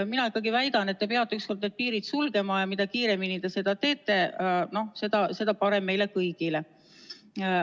Mina väidan, et te peate ükskord need piirid sulgema, ja mida kiiremini te seda teete, seda parem meile kõigile.